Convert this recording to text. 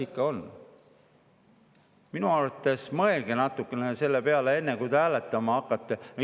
Minu arvates mõtlema natukene selle peale, enne kui te hääletama hakkate.